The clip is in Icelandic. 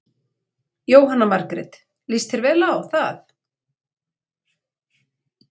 Jóhanna Margrét: Lýst þér vel á það?